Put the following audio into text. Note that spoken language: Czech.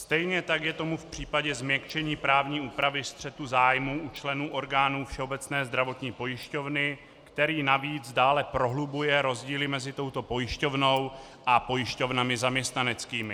Stejně tak je tomu v případě změkčení právní úpravy střetu zájmů u členů orgánů Všeobecné zdravotní pojišťovny, který navíc dále prohlubuje rozdíly mezi touto pojišťovnou a pojišťovnami zaměstnaneckými.